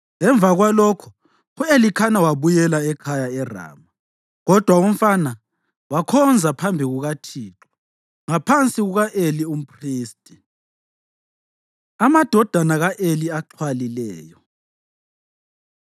Emva kwalokho u-Elikhana wabuyela ekhaya eRama, kodwa umfana wakhonza phambi kukaThixo ngaphansi kuka-Eli umphristi. Amadodana Ka-Eli Axhwalileyo